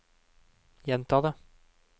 gjenta det